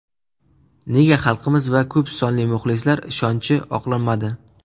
Nega xalqimiz va ko‘psonli muxlislar ishonchi oqlanmadi?